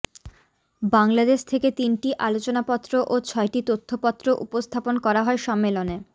বাংলাদেশ থেকে তিনটি আলোচনাপত্র ও ছয়টি তথ্যপত্র উপস্থাপন করা হয় সম্মেলনে